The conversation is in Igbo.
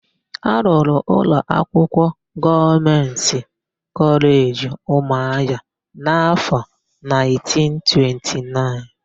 A rụrụ ụlọakwụkwọ Gọọmentị Kọleji Ụmụahịa n'áfọ̀1929.